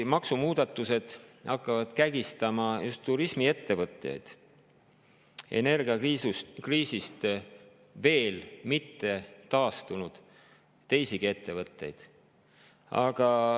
Maksumuudatused hakkavad praegu kägistama just turismiettevõtteid ja energiakriisist veel mitte taastunud teisigi ettevõtteid.